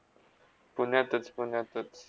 पुण्यातच - पुण्यातच